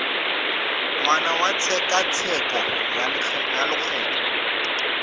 ngwaga wa tshekatsheko ya lokgetho